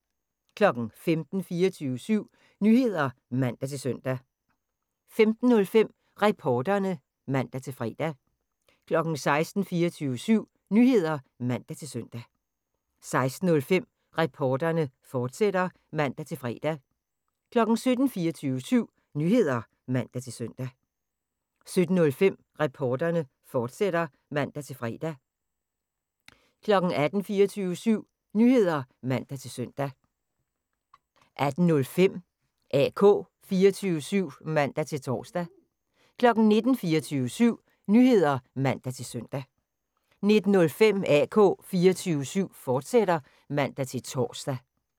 15:00: 24syv Nyheder (man-søn) 15:05: Reporterne (man-fre) 16:00: 24syv Nyheder (man-søn) 16:05: Reporterne, fortsat (man-fre) 17:00: 24syv Nyheder (man-søn) 17:05: Reporterne, fortsat (man-fre) 18:00: 24syv Nyheder (man-søn) 18:05: AK 24syv (man-tor) 19:00: 24syv Nyheder (man-søn) 19:05: AK 24syv, fortsat (man-tor)